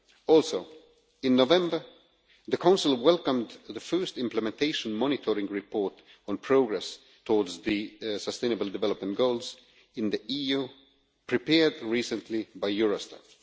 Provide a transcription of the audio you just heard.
Also, in November the Council welcomed the first implementation monitoring report on progress towards the Sustainable Development Goals in the EU prepared recently by Eurostat.